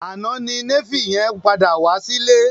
Àná ni Néfì yẹn padà wá sí ilé